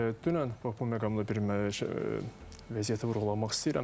dünən bax bu məqamla bir vəziyyəti vurğulamaq istəyirəm.